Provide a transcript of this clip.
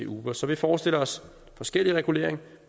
uber så vi forestiller os forskellig regulering